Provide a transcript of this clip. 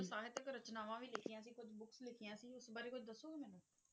ਸਾਹਿਤਿਕ ਰਚਨਾਵਾਂ ਵੀ ਲਿਖੀਆਂ ਸੀ, ਕੁੱਝ books ਲਿਖੀਆਂ ਸੀ, ਉਸ ਬਾਰੇ ਕੁੱਝ ਦੱਸੋਗੇ ਮੈਨੂੰ?